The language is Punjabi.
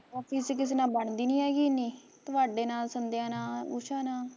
ਬਾਕੀ ਉੱਥੇ ਕਿਸੇ ਨਾਲ਼ ਬਣਦੀ ਨੀ ਹੈਗੀ ਇਨੀ, ਤੁਹਾਡੇ ਨਾਲ਼, ਸੰਦਿਆ ਨਾਲ਼, ਊਸ਼ਾ ਨਾਲ਼